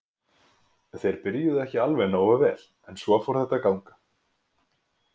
Þeir byrjuðu ekki alveg nógu vel en svo fór þetta að ganga.